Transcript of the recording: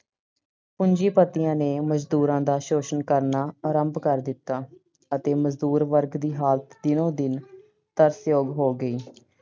ਪੂੰਜੀਪਤੀਆਂ ਨੇ ਮਜ਼ਦੂਰਾਂ ਦਾ ਸ਼ੋਸ਼ਣ ਕਰਨਾ ਆਰੰਭ ਕਰ ਦਿੱਤਾ ਅਤੇ ਮਜ਼ਦੂਰ ਵਰਗ ਦੀ ਹਾਲਤ ਦਿਨੋ-ਦਿਨ ਤਰਸਯੋਗ ਹੋ ਗਈ।